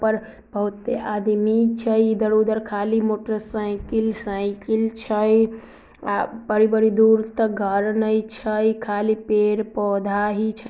बहुते आदमी छै। इधर-उधर खाली मोटरसाइकिल साइकिल छई । बड़ी-बड़ी दूर तक घर ने छै । खाली पेड़-पोधा ही छई ।